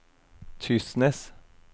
Tysnes